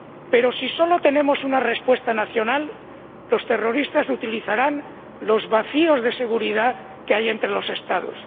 Pero, si solo tenemos una respuesta nacional, los terroristas utilizarán los vacíos de seguridad que hay entre los Estados.